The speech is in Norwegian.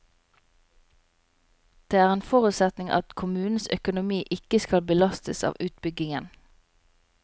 Det er en forutsetning at kommunens økonomi ikke skal belastes av utbyggingen.